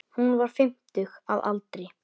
Hún var fimmtug að aldri.